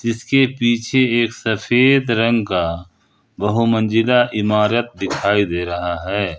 जिसके पीछे एक सफेद रंग का बहु मंजिला इमारत दिखाई दे रहा है।